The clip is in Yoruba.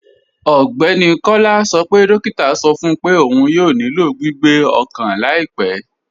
Ọgbẹ́ni Kọla sọ pé dòkìtà sọ fún pé ọún yóò nílò gbìgbé ọkan laipẹ̀.